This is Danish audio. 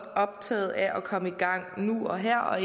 optaget af at komme i gang nu og her og